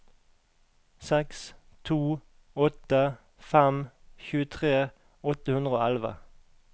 seks to åtte fem tjuetre åtte hundre og elleve